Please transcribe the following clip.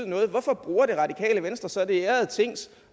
noget hvorfor bruger det radikale venstre så det ærede tings